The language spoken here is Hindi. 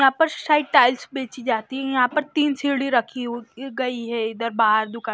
यहां पर शायद टाइल्स बेची जाती है यहां पर तीन सीढ़ी रखी हुई गई है इधर बाहर दुकान--